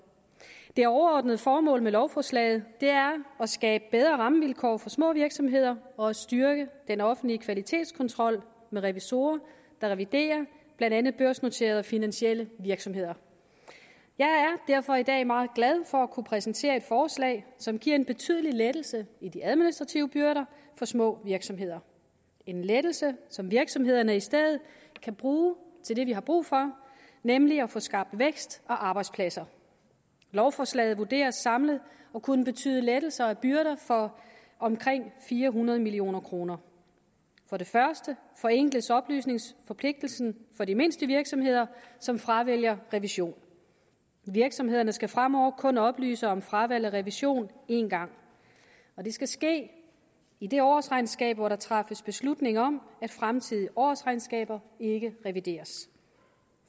det overordnede formål med lovforslaget er at skabe bedre rammevilkår for små virksomheder og at styrke den offentlige kvalitetskontrol med revisorer der reviderer blandt andet børsnoterede og finansielle virksomheder jeg er derfor i dag meget glad for at kunne præsentere et forslag som giver en betydelig lettelse i de administrative byrder for små virksomheder en lettelse som virksomhederne i stedet kan bruge til det vi har brug for nemlig at få skabt vækst og arbejdspladser lovforslaget vurderes samlet at kunne betyde lettelser af byrder for omkring fire hundrede million kroner for det første forenkles oplysningsforpligtelsen for de mindste virksomheder som fravælger revision virksomhederne skal fremover kun oplyse om fravalg af revision én gang og det skal ske i det årsregnskab hvor der træffes beslutning om at fremtidige årsregnskaber ikke revideres